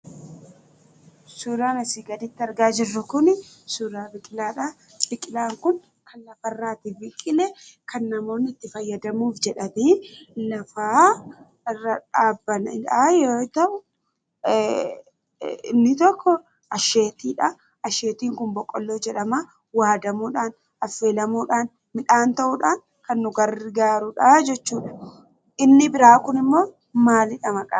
Suuraan asii gaditti argaa jirru kun suuraa biqilaadha. Biqilaan kun kan lafarratti biqile kan namoonni itti fayyadamuuf jedhanii lafa irra dhaaban yoo ta'u, inni tokko asheetiidha. Asheetiin kun boqqoolloodha jedhama. Waadamuudhaan, affeelamuudhaan, midhaan ta'uudhaan kan nu gargaarudha jechuudha. Inni biraa kunimmoo maalidha maqaansaa?